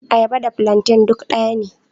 Ayaba da plantain duk daya ne..